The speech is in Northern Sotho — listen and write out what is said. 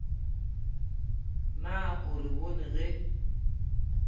na o re bone ge